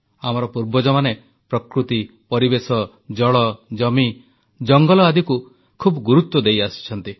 ଆମର ପୂର୍ବଜମାନେ ପ୍ରକୃତି ପରିବେଶ ଜଳ ଜମି ଜଙ୍ଗଲ ଆଦିକୁ ବହୁତ ଗୁରୁତ୍ୱ ଦେଇଆସିଛନ୍ତି